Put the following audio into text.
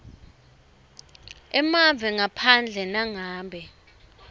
emave ngaphandle nangabe